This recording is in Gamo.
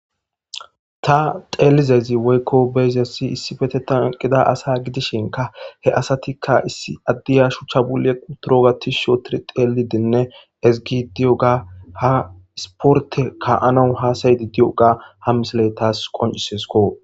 ta xeelizezi woykko beyziassi issifete tanqida asa gidishinka he asatikka issi addiya shuchcha bu7e quturo gatis shotir xeelidinne ezigi diyo ga ha isporte ka anau hasayidi diyoga ha misiley taas qoncisesko